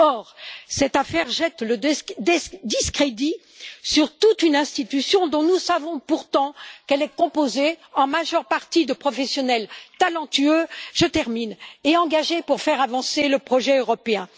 Or, cette affaire jette le discrédit sur toute une institution, dont nous savons pourtant qu'elle est composée en majeure partie de professionnels talentueux et engagés pour faire avancer le projet européen.